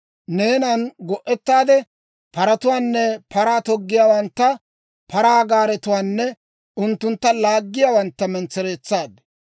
Neenan go'etaade paratuwaanne paraa toggiyaawantta, paraa gaaretuwaanne unttuntta laaggiyaawantta mentsereetsaad.